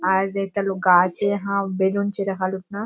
आर एकटा लोक गाछे हाँ बेलून छे राखाल हथीना।